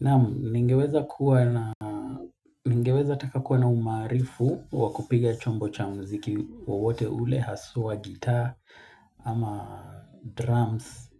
Na ningeweza taka kuwa na umarifu wakupiga chombo cha muziki wowote ule haswa gita ama drums.